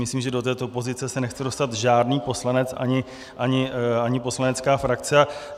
Myslím, že do této pozice se nechce dostat žádný poslanec ani poslanecká frakce.